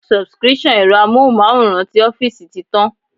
Subscription ẹ̀rọ Amóhùnmáwòrán ti ọ́fíìsì ti tán.